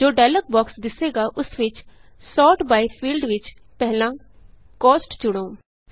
ਜੋ dialog box ਦਿੱਸੇਗਾ ਉਸ ਵਿਚSort byਫੀਲਡ ਵਿਚ ਪਹਿਲਾਂ Costਚੁਣੋ